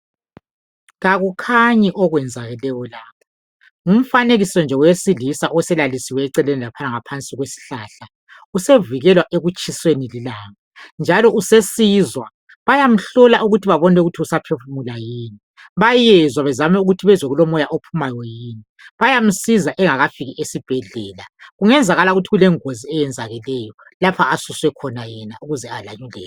Kakukhanyi okwenzakeleyo lapha ngumfanekiso nje owesilisa oselalisiwe eceleni laphana ngaphansi kwesihlahla. Usevikelwa ekutshiseni lilanga njalo sesizwa bayamhlola ukuthi babone ukuthi usaphefumula yini. Bayenzwa bezame ukuthi bezwe kulomoya ophumayo yini. Bayansiza engakafiki esibhedlela. Kungezakala ukuthi kulengozi eyenzakeleyo lapha asuswe khona yena ukuze alandele.